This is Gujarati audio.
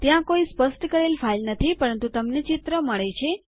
ત્યાં કોઈ સ્પષ્ટ કરેલ ફાઈલ નથી પરંતુ તમને ચિત્ર મળે છે